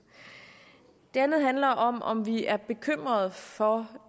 det andet handler om om vi er bekymret for